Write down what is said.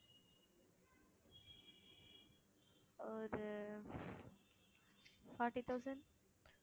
ஒரு forty thousand